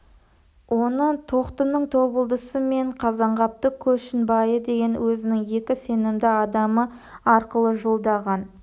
оны тоқтының табылдысы мен қазанғаптың көшінбайы деген өзінің екі сенімді адамы арқылы жолдаған